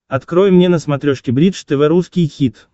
открой мне на смотрешке бридж тв русский хит